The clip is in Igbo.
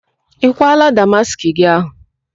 Ị kwaala ákwà damaskị gị ahụ?